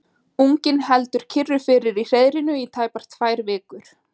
Unginn heldur kyrru fyrir í hreiðrinu í tæpar tvær vikur.